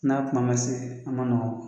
N'a kuma ma se an ma nɔgɔn